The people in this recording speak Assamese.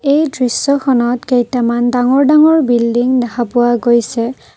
এই দৃশ্যখনত কেইটামান ডাঙৰ ডাঙৰ বিল্ডিং দেখা পোৱা গৈছে।